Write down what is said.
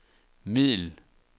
middel